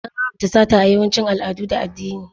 An haramta sata a yawancin al'adu da addini.